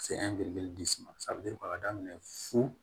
Se ma ka daminɛ fu